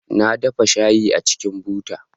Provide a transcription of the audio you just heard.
Na dafa shayi a cikin buta